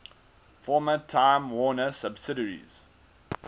former time warner subsidiaries